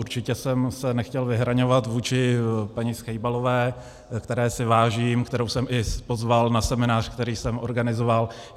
Určitě jsem se nechtěl vyhraňovat vůči paní Schejbalové, které si vážím, kterou jsem i pozval na seminář, který jsem organizoval.